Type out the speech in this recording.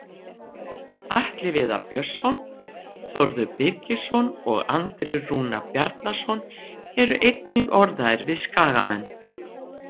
Atli Viðar Björnsson, Þórður Birgisson og Andri Rúnar Bjarnason eru einnig orðaðir við Skagamenn.